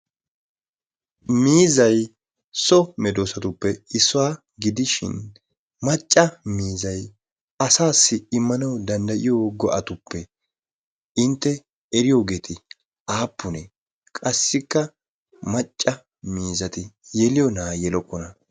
Miizay so medoosatuppe issuwa gidishin macca miizzay asassi immanaw danddayiyo go"atuppe intte eriyoogee aappune? Qassikka macca miizzati yeliyoona? Yelokkona?